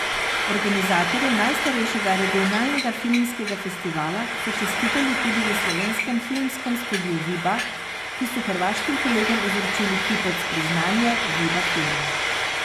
Organizatorjem najstarejšega regionalnega filmskega festivala so čestitali tudi v slovenskem Filmskem studiu Viba, ki so hrvaškim kolegom izročili kipec Priznanje Viba filma.